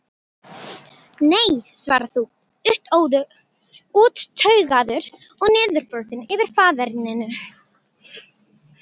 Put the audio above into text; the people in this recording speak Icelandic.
Nei svarar þú, úttaugaður og niðurbrotinn yfir faðerninu.